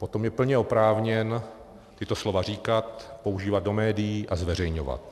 Potom je plně oprávněn tato slova říkat, používat do médií a zveřejňovat.